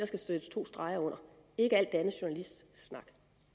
skal sættes to streger under ikke alt det andet journalistsnak